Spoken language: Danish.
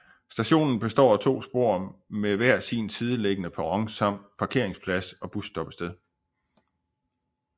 Stationen består af to spor med hver sin sideliggende perron samt parkeringsplads og busstoppested